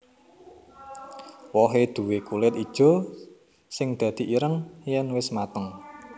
Wohé duwé kulit ijo sing dadi ireng yèn wis mateng